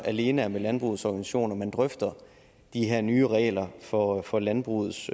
alene er med landbrugets organisationer at man drøfter de her nye regler for for landbrugets